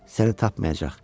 Səni tapmayacaq.